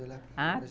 Ah,